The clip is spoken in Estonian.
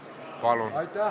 Palun!